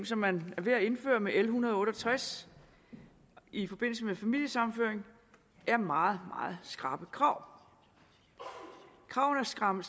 som man er ved at indføre med l en hundrede og otte og tres i forbindelse med familiesammenføring er meget meget skrappe krav kravene er strammet